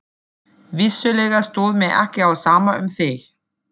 Vissulega stóð mér ekki á sama um þig.